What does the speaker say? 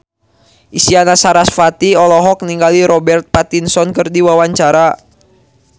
Isyana Sarasvati olohok ningali Robert Pattinson keur diwawancara